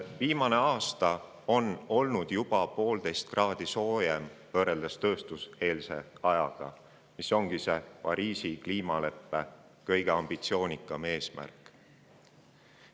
Viimane aasta on olnud juba 1,5 kraadi soojem võrreldes tööstuseelse ajaga, mis ongi Pariisi kliimaleppe kõige ambitsioonikam eesmärk.